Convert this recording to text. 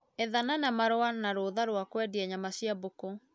Ethana na marũa na rũtha rwa kwendia nyama cia mbũkũ